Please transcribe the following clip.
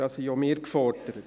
Da sind auch gefordert.